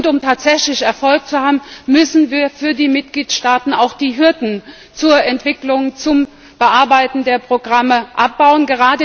Um tatsächlich Erfolg zu haben, müssen wir für die Mitgliedstaaten auch die Hürden zur Entwicklung, zum Bearbeiten der Programme abbauen.